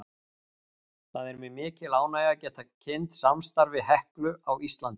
Það er mér mikil ánægja að geta kynnt samstarf við HEKLU á Íslandi.